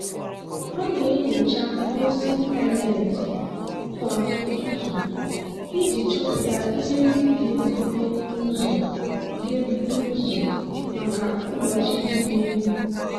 ọ na-enyocha ozi ịntanetị kwa ụtụtụ iji chọpụta ihe ndị ga-ebute ụzọ ga-ebute ụzọ maka ụbọchị dị n'ihu.